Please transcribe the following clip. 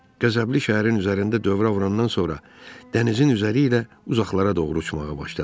Qəzəbli şəhərin üzərində dövrə vurandan sonra dənizin üzəri ilə uzaqlara doğru uçmağa başladı.